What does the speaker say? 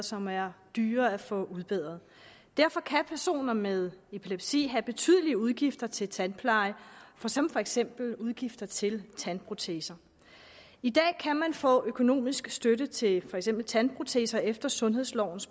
som er dyre at få udbedret derfor kan personer med epilepsi have betydelige udgifter til tandpleje som for eksempel udgifter til tandproteser i dag kan man få økonomisk støtte til for eksempel tandproteser efter sundhedsloven